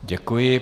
Děkuji.